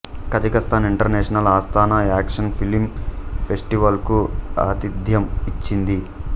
Kazakhstan international Astana action film festival కు ఆతిథ్యం ఇచ్చింది